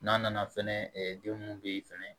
N'a nana fɛnɛ den mun be ye fɛnɛ